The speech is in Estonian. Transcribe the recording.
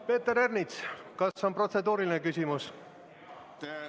Peeter Ernits, kas on protseduuriline küsimus?